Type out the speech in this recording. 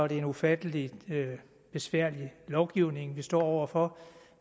det en ufattelig besværlig lovgivning vi står over for